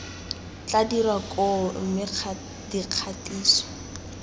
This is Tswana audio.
tla dirwa koo mme dikgatiso